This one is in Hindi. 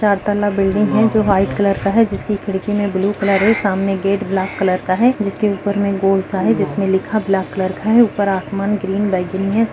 चार तला बिल्डिंग है जो व्हाइट कलर का है जिसकी खिड़की में ब्लू कलर है सामने गेट ब्लैक कलर का है जिसके ऊपर में गोल सा है जिसमें लिखा ब्लैक कलर का है ऊपर आसमान ग्रीन बैगनी है।